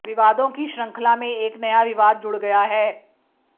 विवादों की श्रंखला में एक नया विवाद जुड़ गया है